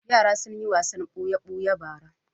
Yara sun yi wasan buya-buya bara.